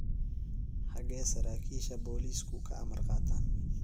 Xaggee saraakiisha booliisku ka amar qaataan?